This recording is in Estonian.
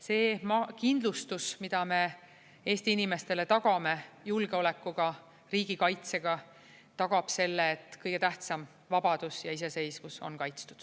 See kindlustus, mida me Eesti inimestele tagame julgeolekuga, riigikaitsega, tagab selle, et kõige tähtsam – vabadus ja iseseisvus – on kaitstud.